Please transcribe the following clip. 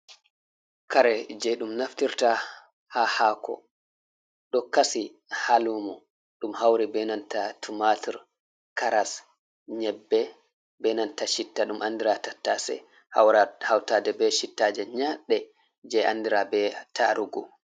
Kare jey ɗum naftirta haa haako ɗo kasi haa luumo ɗum hawri benanta tumatur ,karas, nyebbe, benanta citta, ɗum anndira tattase hawtaade be cittaaje nyaɗɗe jey anndira be taarugu.